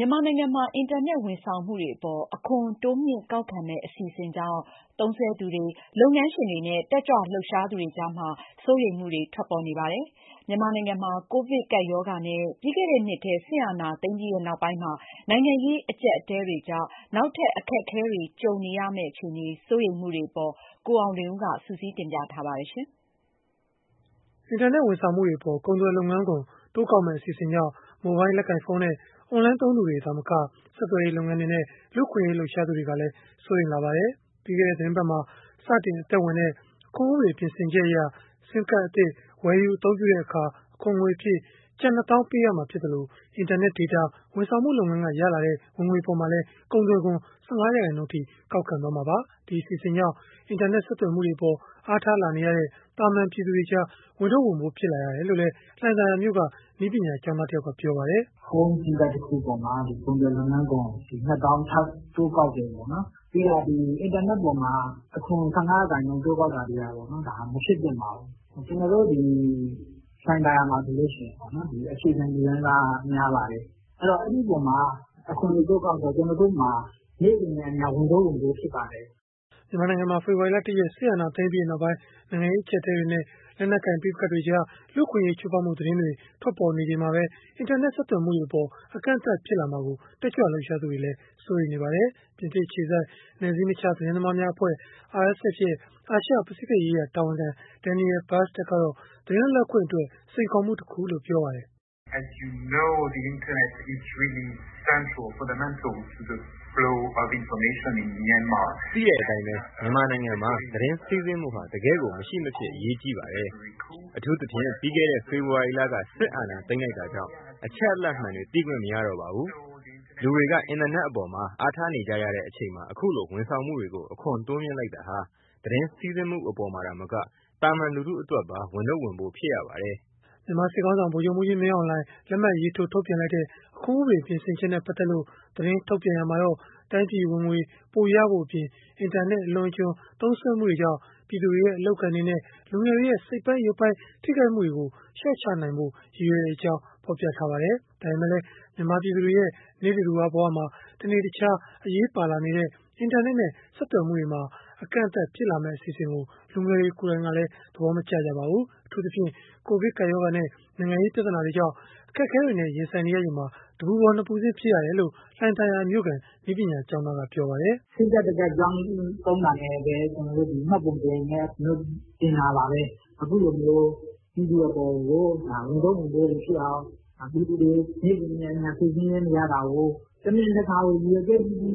ြန်မာနိုင်ငံမှာ အင်တာနက် ဝန်ဆောင်မှုတွေအပေါ် အခွန်တိုးမြှင့်ကောက်ခံမယ့် အစီအစဉ်ကြောင့် သုံးစွဲသူတွေ၊ လုပ်ငန်းရှင်တွေနဲ့ တက်ကြွလှုပ်ရှားသူတွေကြား စိုးရိမ်မှုတွေ ထွက်ပေါ်လာနေပါတယ်။ မြန်မာနိုင်ငံမှာ ကိုဗစ်ကပ်ရောဂါနဲ့ ပြီးခဲ့တဲ့နှစ်ထဲ စစ်အာဏာသိမ်းပြီးနောက်ပိုင်း နိုင်ငံရေး အကျပ်အတည်းတွေကြား နောက်ထပ် အခက်အခဲကြုံရမှာ စိုးရိမ်မှုတွေနဲ့ ပတ်သက်လို့ ကိုအောင်လွင်ဦးက တင်ပြထားပါတယ်။ အင်တာနက် ဝန်ဆောင်မှုတွေအပေါ် ကုန်သွယ်လုပ်ငန်းခွန် တိုးကောက်မယ့် အစီအစဉ်ကြောင့် မိုဘိုင်းလက်ကိုင်ဖုန်းနဲ့ အွန်လိုင်းသုံးသူတွေ သာမက ဆက်သွယ်ရေး လုပ်ငန်းတွေနဲ့ လူ့အခွင့်အရေး လှုပ်ရှားသူတွေကလည်း စိုးရိမ်လာကြပါတယ်။ ပြီးခဲ့တဲ့ သီတင်းပတ်မှာ စတင်အသက်ဝင်တဲ့ အခွန်ဥပဒေ ပြင်ဆင်ချက်အရ SIM Card အသစ် ဝယ်ယူအသုံးပြုတဲ့အခါ အခွန်ငွေအဖြစ် ကျပ် ၂ သောင်းပေးရမှာ ဖြစ်သလို၊ အင်တာနက်ဒေတာ ဝန်ဆောင်မှုလုပ်ငန်းက ရရှိတဲ့ ဝင်ငွေအပေါ်မှာလည်း ကုန်သွယ်ခွန် ၁၅ ရာခိုင်နှုန်းအထိ ကောက်ခံသွားမှာပါ။ ဒီအစီအစဉ်ကြောင့် အင်တာနက် ဆက်သွယ်မှုတွေအပေါ် အားထားလာနေရတဲ့ သာမာန်ပြည်သူတွေကြား ဝန်ထုပ်ဝန်ပိုး ဖြစ်ရတယ်လို့လည်း လှိုင်သာယာမြို့က နည်းပညာကျောင်းသားတယောက်က ပြောပါတယ်။ “ဖုန်းဆင်းကတ်တခုပေါ်မှာ ကုန်သွယ်လုပ်ငန်းခွန် ၂၀၀၀၀ ထပ်တိုးကောက်တယ်ပေါ့နော်၊ ပြီးတော့ အင်တာနက်အပေါ်မှာ အခွန်၁၅ရာခိုင်နှုန်း တိုးကောက်တာတွေကပေါ့နော် မဖြစ်သင့်ပါဘူး။ ကျနော်တို့ဒီ လှိုင်သာယာမှာဆိုရင် အခြေခံလူတန်းစာက များပါတယ်။ အဲဒီတော့ အဲဒီအပေါ်မှာ အခွန်တွေတိုးကောက်တော့ ကျနော်တို့မှာ နေ့စဉ်နဲ့အမျှ ဝန်ထုပ်ဝန်ပိုးတွေ ဖြစ်ပါတယ်။” မြန်မာနိုင်ငံမှာ ဖေဖော်ဝါရီလ ၁ ရက်၊ စစ်အာဏာသိမ်းပြီးနောက်ပိုင်း နိုင်ငံရေး အကျပ်အတည်းတွေနဲ့ လက်နက်ကိုင် ပဋိပက္ခတွေကြား လူ့အခွင့်အရေး ချိုးဖောက်မှု သတင်းတွေ ထွက်ပေါ်နေချိန်မှာပဲ အင်တာနက် ဆက်သွယ်မှုတွေအပေါ် အကန့်အသတ် ဖြစ်လာမှာကို တက်ကြွလှုပ်ရှားသူတွေကလည်း စိုးရိမ်နေကြပါတယ်။ ပြင်သစ်အခြေစိုက် နယ်စည်းမခြား သတင်းသမားများအဖွဲ့ (RSF) ရဲ့ အာရှ၊ ပစိဖိတ်ရေးရာ တာဝန်ခံ Daniel Bastard ကတော့ သတင်းလွတ်လပ်ခွင့်အတွက် စိန်ခေါ်မှုတခုလို့ ပြောပါတယ်။ “သိတဲ့အတိုင်း မြန်မာနိုင်ငံမှာ သတင်းစီးဆင်းမှုဟာ တကယ့်ကို မရှိမဖြစ် အရေးကြီးပါတယ်။ အထူးသဖြင့် ပြီးခဲ့တဲ့ ဖေဖော်ဝါရီလက စစ်အာဏာသိမ်းလိုက်တာကြောင့် အချက်အလက်မှန်တွေ သိခွင့်မရတော့ပါဘူး။ လူတွေက အင်တာနက်အပေါ်မှာ အားထားနေကြရတဲ့ အချိန်မှာ အခုလို ဝန်ဆောင်မှုတွေကို အခွန်တိုးမြှင့်လိုက်တာဟာ သတင်းစီးဆင်းမှု အပေါ်မှာ သာမက သာမန်လူထုအတွက်ပါ ဝန်ထုပ်ဝန်ပိုး ဖြစ်ရပါတယ်။” မြန်မာစစ်ခေါင်းဆောင် ဗိုလ်ချုပ်မှူးကြီး မင်းအောင်လှိုင် လက်မှတ်ရေးထိုး ထုတ်ပြန်လိုက်တဲ့ အခွန်ဥပဒေ ပြင်ဆင်ချက်နဲ့ ပတ်သက်လို့ သတင်းထုတ်ပြန်ရာမှာတော့ တိုင်းပြည်ဝင်ငွေပိုရဖို့အပြင်၊ အင်တာနက် အလွန်အကျွံ သုံးစွဲမှုတွေကြောင့် ပြည်သူတွေရဲ့ အလုပ်အကိုင်တွေနဲ့ လူငယ်တွေရဲ့ စိတ်ပိုင်း၊ ရုပ်ပိုင်းထိခိုက်မှုတွေကို လျှော့ချနိုင်ဖို့ ရည်ရွယ်ကြောင်း ဖော်ပြထားပါတယ်။ ဒါပေမဲ့လည်း မြန်မာပြည်သူတွေရဲ့ နိစ္စဒူဝ ဘဝမှာ တနေ့တခြား အရေးပါလာနေတဲ့ အင်တာနက်နဲ့ ဆက်သွယ်မှုတွေမှာ အကန့်အသတ်ဖြစ်လာမယ့်အစီအစဉ်ကို လူငယ်တွေ ကိုယ်တိုင်ကတော့ သဘောမကျကြပါဘူး။ အထူးသဖြင့် ကိုဗစ်ကပ်ရောဂါနဲ့ နိုင်ငံရေးပြဿနာတွေကြောင့် အခက်အခဲတွေနဲ့ ရင်ဆိုင်နေရချိန်မှာ တပူပေါ် နှစ်ပူဆင့် ဖြစ်ရတယ်လို့ လှိုင်သာယာမြို့ခံ နည်းပညာကျောင်းသားက ပြောပါတယ်။ “ကျနော်တို့ကလည်း ဆင်းကဒ်တကဒ် ပြောင်းသုံးတာနဲ့ မှတ်ပုံတင် ကျနော်တို့တင်တာပါပဲ။ အခုလိုမျိုး ပြည်သူအပေါ်ကို ဝန်ထုပ်ဝန်ပိုးတွေဖြစ်အောင် ပြည်သူတွေကို နေ့စဉ်နဲ့အမျှ စိတ်ဆင်းရဲနေရတာကို တမင်တကာကို ရည်ရွယ်ချက်ရှိရှိ